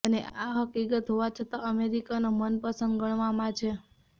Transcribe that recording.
અને આ હકીકત હોવા છતાં અમેરિકનો મનપસંદ ગણવામાં છે